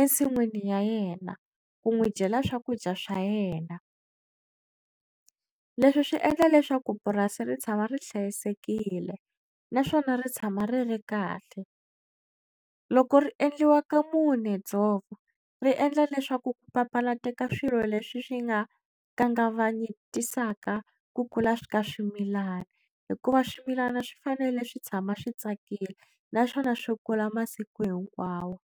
ensin'wini ya yena ku n'wi dyela swakudya swa yena leswi swi endla leswaku purasi ri tshama ri hlayisekile naswona ri tshama ri ri kahle loko ri endliwa ka mune dzovo ri endla leswaku ku papalateka swilo leswi swi nga ka kangavanyetisaka ku kula ka swimilana hikuva swimilana swi fanele swi tshama swi tsakile naswona swi kula masiku hinkwawo.